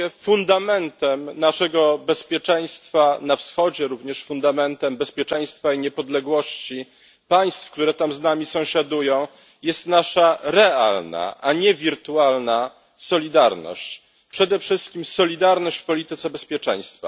Fundamentem naszego bezpieczeństwa na wschodzie, również fundamentem bezpieczeństwa i niepodległości państw, które tam z nami sąsiadują, jest nasza realna, a nie wirtualna solidarność, przede wszystkim solidarność w polityce bezpieczeństwa.